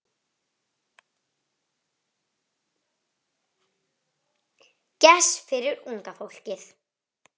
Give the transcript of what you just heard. Gess fyrir unga fólkið.